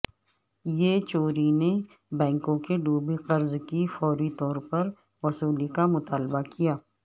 یچوری نے بینکوں کے ڈوبے قرض کی فوری طور پر وصولی کا مطالبہ کیا